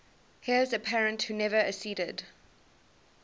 heirs apparent who never acceded